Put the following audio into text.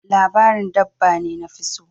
Labarin dabba ne nafi so.